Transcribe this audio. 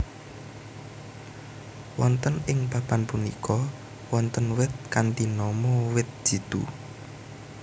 Wonten ing papan punika wonten wit kanthi nama wit jitu